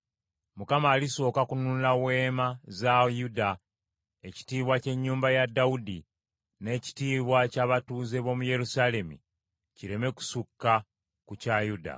“ Mukama alisooka kununula weema za Yuda, ekitiibwa ky’ennyumba ya Dawudi, n’ekitiibwa ky’abatuuze b’omu Yerusaalemi kireme kusukka ku kya Yuda.